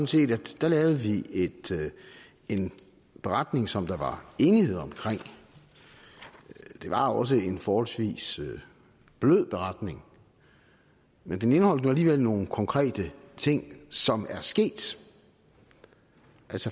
set at der lavede vi en beretning som der var enighed om det var også en forholdsvis blød beretning men den indeholdt nu alligevel nogle konkrete ting som er sket